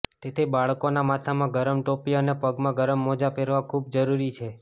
તેથી બાળકોનાં માથામાં ગરમ ટોપી અને પગમાં ગરમ મોજા પહેરવા ખૂબ જ જરૂરી છે